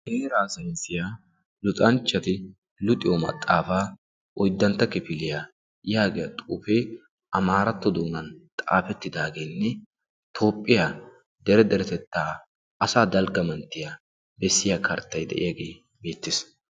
heeraa sansiyaa luxanchchati luxiyo maxaafaa oyddantta kefiliyaa yaagiya xuufee amaaratto doonan xaafettidaageenne toophphiyaa dere deretettaa asa dalgga manttiya bessiya karttai de'iyaagee beettees